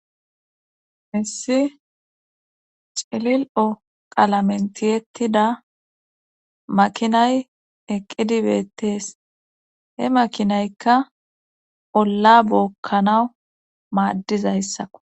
hessi celil7o qalamentiyettida makinay eqqidibeettees he makinaykka olla bookkanawu maaddizayssako